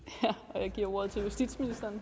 jeg giver ordet til justitsministeren